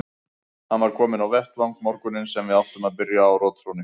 Hann var kominn á vettvang morguninn sem við áttum að byrja á rotþrónni.